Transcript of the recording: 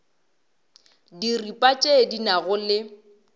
diripa tše di nago le